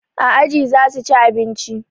A aji zasu ci abinci